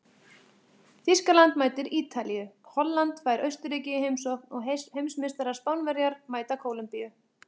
Þýskaland mætir Ítalíu, Holland fær Austurríki í heimsókn og heimsmeistarar Spánverjar mæta Kólumbíu.